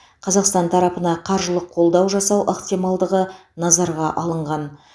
қазақстан тарапына қаржылық қолдау жасау ықтималдығы назарға алынған